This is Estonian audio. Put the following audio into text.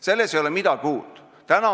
Selles ei ole midagi uut.